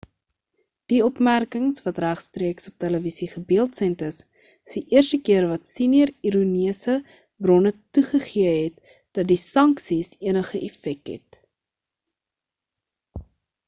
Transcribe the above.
die opmerkings wat regstreeks op televisie gebeeldsend is is die eerste keer wat senior irannese bronne toegegee het dat die sanksies enige effek het